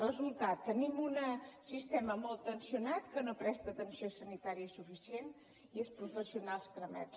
resultat tenim un sistema molt tensionat que no presta atenció sanitària suficient i els professionals cremats